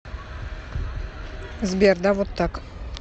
сбер да вот так